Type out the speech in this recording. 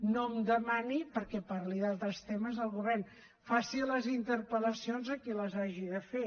no em demani perquè parli d’altres temes del govern faci les interpel·lacions a qui les hagi de fer